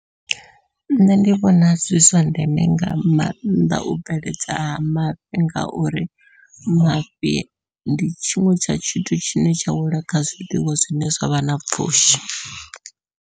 Nṋe ndi vhona zwi zwa ndeme nga maanḓa u bveledza ha mafhi ngauri mafhi ndi tshiṅwe tsha tshithu tshine tsha wela kha zwiḽiwa zwine zwavha na pfhushi.